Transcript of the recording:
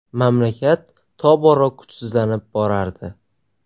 Mamlakat tobora kuchsizlanib borardi.